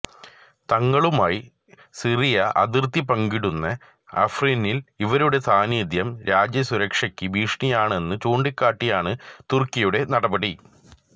തങ്ങളുമായി Syria അതിര്ത്തി പങ്കിടുന്ന അഫ്രിനില് ഇവരുടെ സാന്നിധ്യം രാജ്യ സുരക്ഷയ്ക്ക് ഭീഷണിയാണെന്ന് ചൂണ്ടിക്കാട്ടിയാണ് തുര്ക്കിയുടെ നടപടി